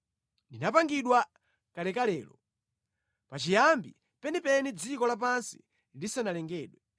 Ndinapangidwa kalekalelo, pachiyambi penipeni dziko lapansi lisanalengedwe.